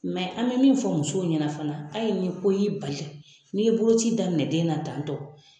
an bɛ min fɔ musow ɲɛna fana ayi ni ko y'i bali, n'i ye boloci daminɛ den na tantɔ